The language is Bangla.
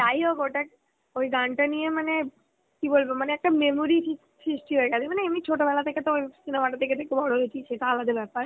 যাইহোক ওটা, ওই গানটা নিয়ে মানে, কি বলব মানে একটা memory সৃষ্টি হয়ে গেছে, মানে এমনি ছোটবেলা থেকে তো ওই cinema টা দেখে দেখে বড় হয়েছি সে তো আলাদা বেপার